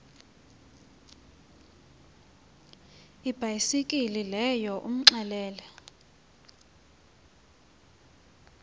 ibhayisekile leyo umxelele